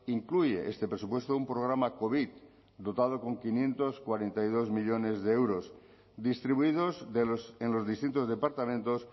incluye este presupuesto un programa covid dotado con quinientos cuarenta y dos millónes de euros distribuidos en los distintos departamentos